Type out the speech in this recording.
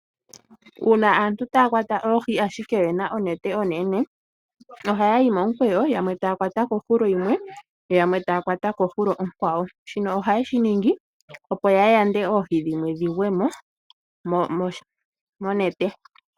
Uuna aantu taa kwata oohi ashike oye na onete onene ohaya yi momukweyo, yamwe taa kwata kohulo yimwe, yo yamwe taa kwata kohulo onkwawo. Shino ohaye shi ningi oponya yande oohi dhimwe dhi gwe mo monete.